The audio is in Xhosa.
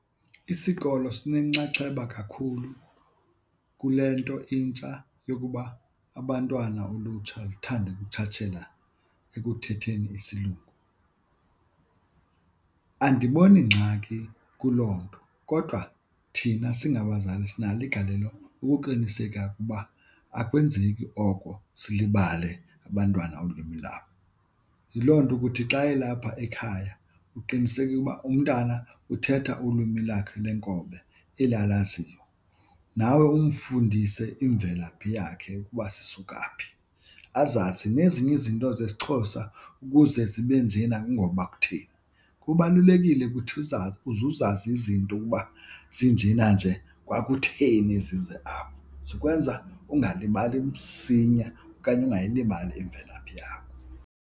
Isikolo sinenxaxheba kakhulu kule nto intsha yokuba abantwana ulutsha luthande ukutshatshela ekuthetheni isilungu. Andiboni ngxaki kuloo nto kodwa thina singabazali sinalo igalelo ukuqiniseka ukuba akwenzeki oko silibale abantwana ulwimi labo. Yiloo nto ukuthi xa elapha ekhaya uqiniseke uba umntana uthetha ulwimi lakhe lenkobe eli alaziyo, nawe umfundise imvelaphi yakhe ukuba sisuka phi, azazi nezinye izinto zesiXhosa ukuze zibe njena kungoba kutheni. Kubalulekile ukuthi uzazi, uze uzazi izinto ukuba zinjena nje kwakutheni zize apho. Zikwenza ungalibali msinya okanye ungayilibali imvelaphi yakho.